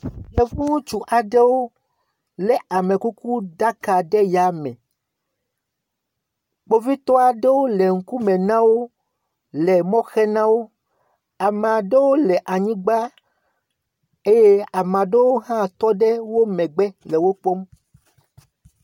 Yevu ŋutsu aɖewo lé amekukuɖaka ɖe ya me, kpovitɔwo le ŋkume na wo, le mɔ xem na wo. Ame aɖewo le anyigba eye ame aɖewo hã tɔ ɖe wo megbe le wo kpɔm.